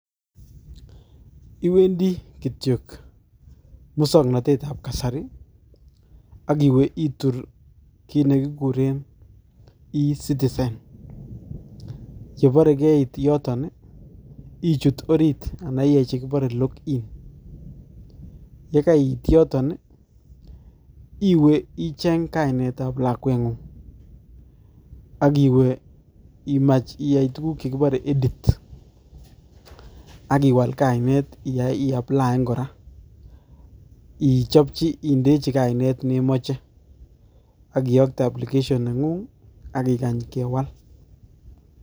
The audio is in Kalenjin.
Iwendi kityok musoknotetab kasari, akiwe itur kiit nekikuren eCitizen, yebore keit yoton ii, ichut orit ana iyai che kibore login, ye kaiit yoton ii, iwe icheng kainetab lakwengung, ak iwe imach iyai tukuk che kibore edit akiwal kainet iaplian kora, ichopchi indechi kainet ne moche, akiyokte application nengung ak ikany kewal.